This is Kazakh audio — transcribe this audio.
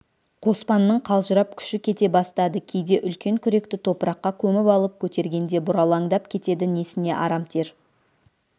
қоспанның қалжырап күші кете бастады кейде үлкен күректі топыраққа көміп алып көтергенде бұралаңдап кетеді несіне арамтер